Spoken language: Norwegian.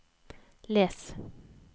les